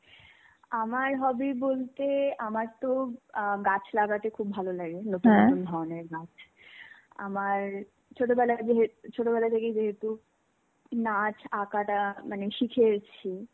আমার hobby বলতে আমারতো আহ গাছ লাগাতে খুব ভালো লাগে নতুন ধরনের গাছ. আমার, ছোটবেলায় ছোটবেলা থেকেই যেহেতু নাচ আঁকাটা মানে শিখে এসছি,